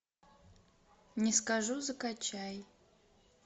не скажу закачай